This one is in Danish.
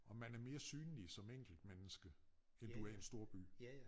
Og man er mere synlig som enkeltmenneske end du er i en storby